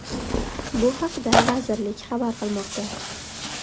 Bu haqda vazirlik xabar qilmoqda .